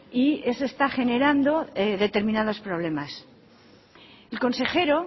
y eso está generando determinados problemas el consejero